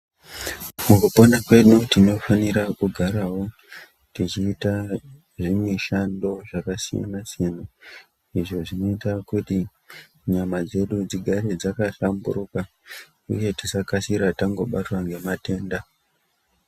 Mukupona kwedu tinofanira kugarawo techiita zvimishando zvakasiyana siyana izvo zvinoita kuti nyama dzedu dzigare dzakahlamburuka uye tisakasira tangobatwa ngematenda